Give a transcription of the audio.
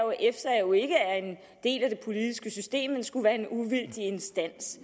en det politiske system men skulle være en uvildig instans